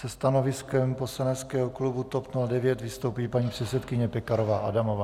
Se stanoviskem poslaneckého klubu TOP 09 vystoupí paní předsedkyně Pekarová Adamová.